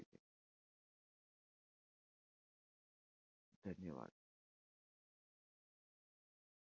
धन्यवाद!